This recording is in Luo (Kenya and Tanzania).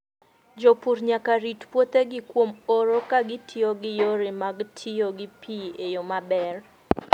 Jopur nyaka rit puothegi kuom oro ka gitiyo gi yore mag tiyo gi pi e yo maber.